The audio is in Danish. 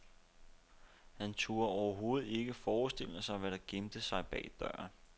Han turde overhovedet ikke forestille sig, hvad der gemte sig bag døren.